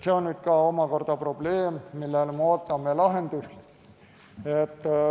See on omakorda probleem, millele me ootame lahendust.